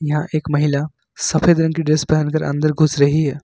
यहां एक महिला सफेद रंग की ड्रेस पहन कर अंदर घुस रही है।